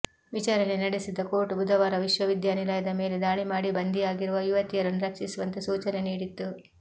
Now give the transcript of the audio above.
ವಿಚಾರಣೆ ನಡೆಸಿದ್ದ ಕೋರ್ಟ್ ಬುಧವಾರ ವಿಶ್ವವಿದ್ಯಾನಿಲಯದ ಮೇಲೆ ದಾಳಿ ಮಾಡಿ ಬಂಧಿಯಾಗಿರುವ ಯುವತಿಯರನ್ನು ರಕ್ಷಿಸುವಂತೆ ಸೂಚನೆ ನೀಡಿತ್ತು